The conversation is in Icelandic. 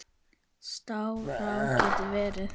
Staðará getur verið